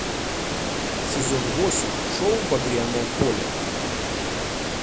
сезон восемь шоу багряное поле